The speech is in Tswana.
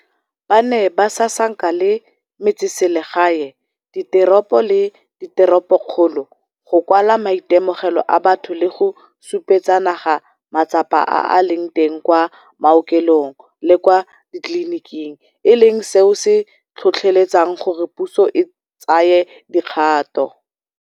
Ba ne ba sasanka le metseselegae, diteropo le diteropokgolo, go kwala maitemogelo a batho le go supetsa naga matsapa a a leng teng kwa maokelong le kwa ditleliniking, e leng seo se tlhotlheletsang gore puso e tsaye dikgato.